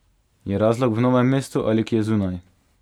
Je razlog v Novem mestu ali kje zunaj?